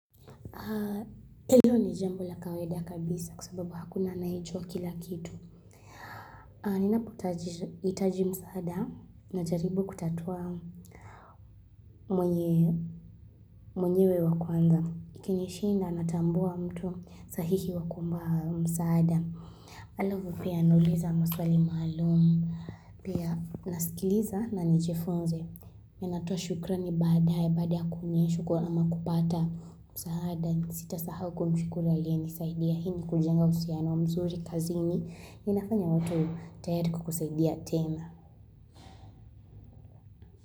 Hiyo ni jambo la kawaida kabisa kwa sababu hakuna anayejua kila kitu. Nina pohitaji msaada na jaribu kutatua mwenyewe wa kwanza. Ikinishinda natambua mtu sahihi wa kuomba msaada. Alavu pia anuliza maswali maalumu. Pia nasikiliza na nijifunze. Minatoa shukra ni badae badaa kumyeshwa kwa ama kupata msaada. Sita sahau kumshukulu ali ya nisaidia hini kujenga usiano wa mzuri kazini ni nafanya watu tayariko kusaidia tena.